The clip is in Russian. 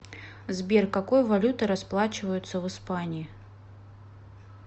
сбер какой валютой расплачиваются в испании